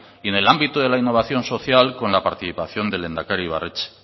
y en el ámbito de la innovación social con la participación del lehendakari ibarretxe